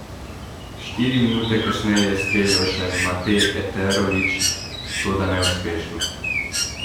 Štiri minute kasneje je streljal še Mate Eterović, toda neuspešno.